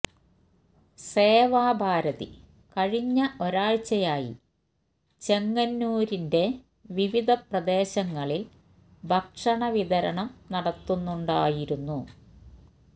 സേവാഭാരതി കഴിഞ്ഞ ഒരാഴ്ചയായി ചെങ്ങന്നൂരിന്റെ വിവിധ പ്രദേശങ്ങളില് ഭക്ഷണ വിതരണം നടത്തുന്നുണ്ടായിരുന്നു